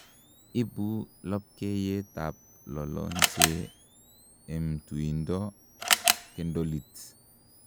Ibu lopkeiyet ak lolonche I'm tuindo kendolit